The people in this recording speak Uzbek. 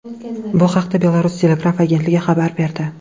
Bu haqda Belarus telegraf agentligi xabar berdi .